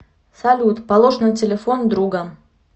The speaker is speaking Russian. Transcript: салют положь на телефон друга